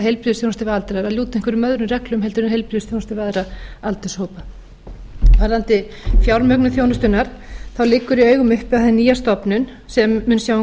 aldraða lúti einhverjum öðrum reglum en heilbrigðisþjónusta við aðra aldurshópa varðandi fjármögnun þjónustunnar leggur í augum uppi að hin nýja stofnun sem mun sjá um